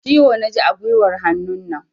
Ciwo na ji a guiwar hannunan.